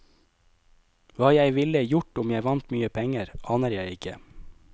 Hva jeg ville gjort om jeg vant mye penger, aner jeg ikke.